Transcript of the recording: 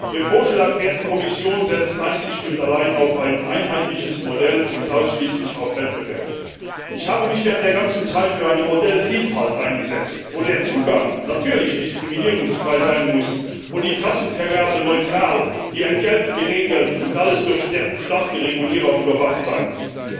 Ihr Vorschlag, werte Kommission, setzt einzig und allein auf ein einheitliches Modell und ausschließlich auf Wettbewerb. Ich habe mich während der ganzen Zeit für eine Modellvielfalt eingesetzt, wo der Zugang natürlich diskriminierungsfrei sein muss, wo die Trassenvergabe neutral sein muss, die Entgelte geregelt werden müssen und alles durch starke Regulierer überwacht werden muss